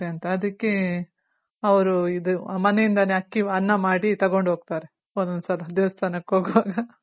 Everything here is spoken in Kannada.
ಆಗುತ್ತೆ ಅಂತ ಅದಕ್ಕೆ ಅವ್ರು ಇದು ಮನೆ ಇಂದಾನೆ ಅಕ್ಕಿ ಅನ್ನ ಮಾಡಿ ತಗೊಂಡ್ ಹೋಗ್ತಾರೆ ಒಂದೊಂದ್ ಸಲ ದೇವಾಸ್ಥಾನಕ್ ಹೋಗೋವಾಗ